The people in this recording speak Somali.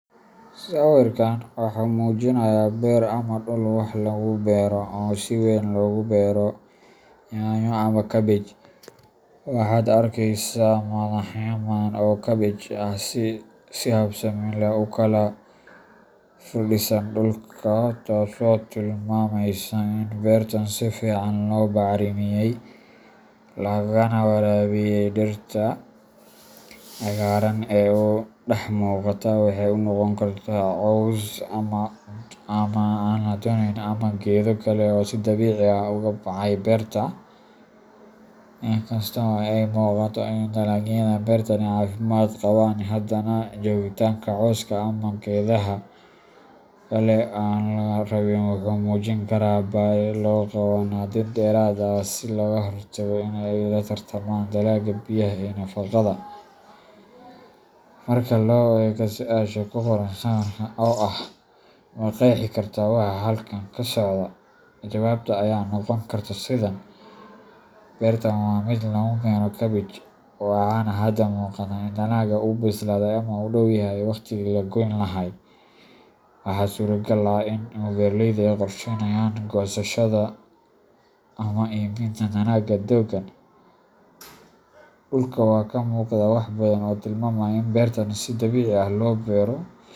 Sawirkan waxa uu muujinayaa beer ama dhul wax lagu beero oo si weyn loogu beero yaanyo ama kaabej . Waxaad arkaysaa madaxyo badan oo kaabej ah oo si habsami leh u kala firdhisan dhulka, taasoo tilmaamaysa in beertan si fiican loo bacrimiyay lana waraabiyay. Dhirta cagaaran ee u dhex muuqata waxay noqon karaan caws aan la doonayn ama geedo kale oo si dabiici ah uga baxay beerta. Inkasta oo ay u muuqato in dalagyada beertani caafimaad qabaan, haddana joogitaanka cawska ama geedaha kale ee aan la rabin wuxuu muujin karaa baahi loo qabo nadiifin dheeraad ah si looga hortago in ay la tartamaan dalagga biyaha iyo nafaqada. Marka la eego su’aasha ku qoran sawirka oo ah "Ma qeexi kartaa waxa halkan ka socda?", jawaabta ayaa noqon karta sidan: beertan waa mid lagu beero kaabej, waxaana hadda muuqata in dalagga uu bislaaday ama u dhow yahay waqtigii la goyn lahaa. Waxaa suuragal ah in beeraleyda ay qorsheynayaan goosashada ama iibinta dalagga dhowaan. Dhulka waxaa ka muuqda wax badan oo tilmaamaya in beertan si dabiici ah loo beero .